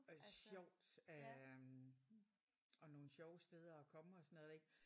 Og sjovt øh og nogle sjove steder at komme og sådan noget ik?